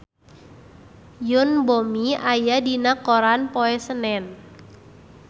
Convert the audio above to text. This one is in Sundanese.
Yoon Bomi aya dina koran poe Senen